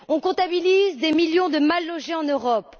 On comptabilise des millions de mal logés en Europe.